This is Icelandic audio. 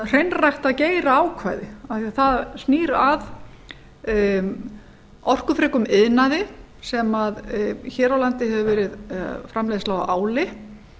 hreinræktað geiraákvæði vegna þess að það snýr að orkufrekum iðnaði sem hér á landi hefur verið framleiðsla á áli